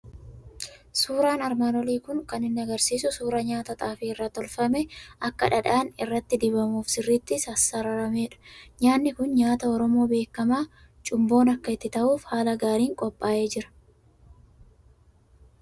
Siuraan armaan olii kun kan inni argisiisu suuraa nyaata xaafii irraa tolfamee akka dhadhaan irratti dibamuuf sirriitti sassararameerudha. Nyaatni kun nyaata Oromoo beekamaa cumboon akka itti ta'uuf haala gaariin qophaa'ee jira.